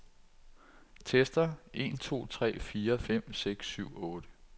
Tester en to tre fire fem seks syv otte.